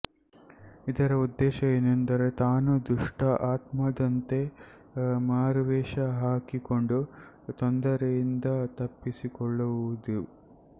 ಇದರ ಉದ್ದೇಶ ಎಂದರೆ ತಾನು ದುಷ್ಟ ಆತ್ಮದಂತೆ ಮಾರುವೇಷ ಹಾಕಿಕೊಂಡು ತೊಂದರೆಯಿಂದ ತಪ್ಪಿಸಿಕೊಳ್ಳುವುದು